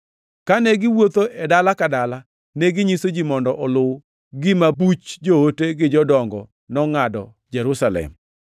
Kane giwuotho e dala ka dala, neginyiso ji mondo oluw gima buch joote gi jodongo nongʼado Jerusalem.